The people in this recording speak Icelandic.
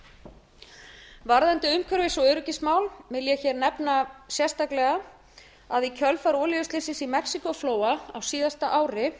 fleira varðandi umhverfis og öryggismál vil ég hér nefna sérstaklega að í kjölfar olíuslyssins í mexíkóflóa á síðasta ári